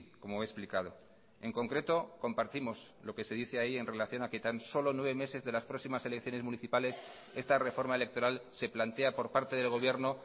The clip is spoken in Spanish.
como he explicado en concreto compartimos lo que se dice ahí en relación a que tan solo nueve meses de las próximas elecciones municipales esta reforma electoral se plantea por parte del gobierno